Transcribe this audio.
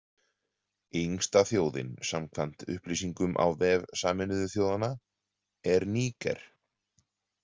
Yngsta þjóðin, samkvæmt upplýsingum á vef Sameinuðu þjóðanna, er Níger.